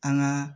An ka